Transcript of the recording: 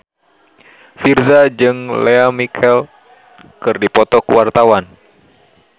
Virzha jeung Lea Michele keur dipoto ku wartawan